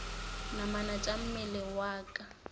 namana tša mmele wa ka